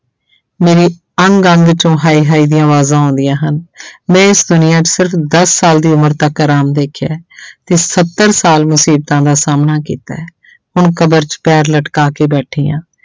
ਮੇਰੇ ਅੰਗ ਅੰਗ ਚੋਂ ਹਾਏ ਹਾਏ ਦੀਆਂ ਆਵਾਜ਼ਾਂ ਆਉਂਦੀਆਂ ਹਨ ਮੈਂ ਇਸ ਦੁਨੀਆਂ 'ਚ ਸਿਰਫ਼ ਦਸ ਸਾਲ ਦੀ ਉਮਰ ਤੱਕ ਆਰਾਮ ਦੇਖਿਆ ਹੈ ਤੇ ਸੱਤਰ ਸਾਲ ਮੁਸੀਬਤਾਂ ਦਾ ਸਾਹਮਣਾ ਕੀਤਾ ਹੈ ਹੁਣ ਕਬਰ 'ਚ ਪੈਰ ਲਟਕਾ ਕੇ ਬੈਠੀ ਹਾਂ।